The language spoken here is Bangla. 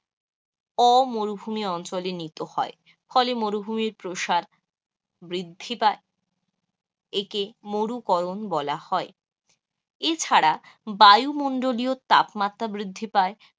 অমুরুভুমি অঞ্চলে নীত হয়, ফলে মরুভুমির প্রসার বৃদ্ধি পায় একে মরুকরণ বলা হয়. ছাড়া বায়ুমণ্ডলীয় তাপমাত্রা বৃদ্ধি পায়,